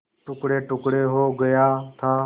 टुकड़ेटुकड़े हो गया था